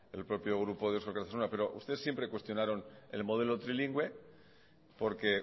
el propio grupo de eusko alkartasuna pero ustedes siempre cuestionaron el modelo trilingüe porque